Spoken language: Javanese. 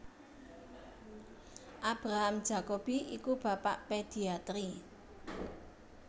Abraham Jacobi iku bapak pediatri